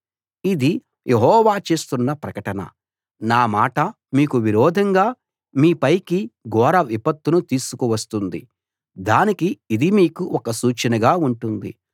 ఇది యెహోవా చేస్తున్న ప్రకటన నా మాట మీకు విరోధంగా మీ పైకి ఘోర విపత్తును తీసుకు వస్తుంది దానికి ఇది మీకు ఒక సూచనగా ఉంటుంది